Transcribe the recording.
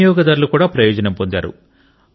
వినియోగదారులు కూడా ప్రయోజనం పొందారు